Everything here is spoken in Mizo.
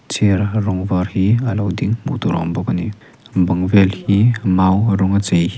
chair rawng var hi a lo ding hmuh tur a awm bawk a ni bang vel hi mau rawng a chei hi--